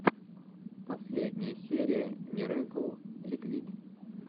последняя серия мирэкл ликвид